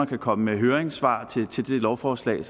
kan komme med høringssvar til de lovforslag